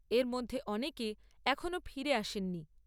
এর মধ্যে অনেকে এখনও ফিরে আসেননি।